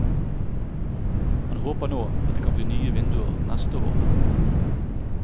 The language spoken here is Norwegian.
Han håper nå at det kan bli nye vinduer neste år.